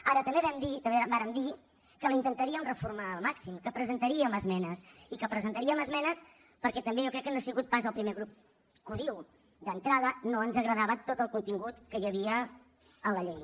ara també vàrem dir que la intentaríem reformar al màxim que presentaríem esmenes i que presentaríem esmenes perquè també jo crec que no ha sigut pas el primer grup que ho diu d’entrada no ens agradava tot el contingut que hi havia en la llei